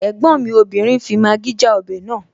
Ẹ̀gbọ́n mi obìnrin fi Maggi já ọbẹ̀ naa